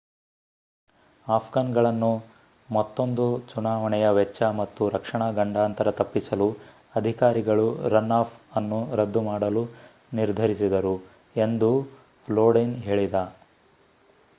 Afghan ಗಳನ್ನು ಮತ್ತೋಂದು ಚುನಾವಣೆಯ ವೆಚ್ಚ ಮತ್ತು ರಕ್ಷಣಾ ಗಂಡಾಂತರ ತಪ್ಪಿಸಲು ಅಧಿಕಾರಿಗಳು ರನ್ ಆಫ್ ಅನ್ನು ರದ್ದು ಮಾಡಲು ನಿರ್ಧರಿಸಿದರು ಎಂದೂ ಲೋಡಿನ್ ಹೇಳಿದ